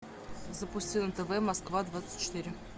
запусти на тв москва двадцать четыре